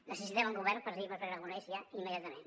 necessitem un govern presidit per pere aragonès ja immediatament